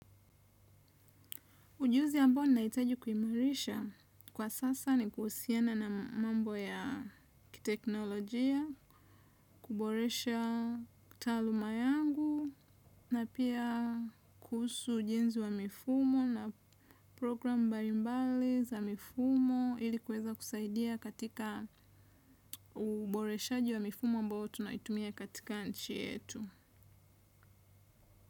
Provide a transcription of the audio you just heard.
Ujuzi ambo ninaitaji kuhimarisha kwa sasa ni kuhusiana na mambo ya kiteknolojia, kuboresha taluma yangu na pia kuhusu jinzi wa mifumo na program mbaimbali za mifumo ilikuweza kusaidia katika uboreshaji wa mifumo ambao tunaitumia katika nchi yetu.